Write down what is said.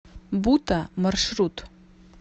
бута маршрут